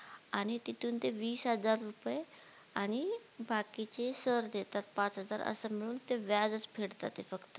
आणि तिथून ते वीस हजार रुपये आणि बाकीचे सर देतात पाच हजार अस मिळून ते व्याज च फेडतायत फक्त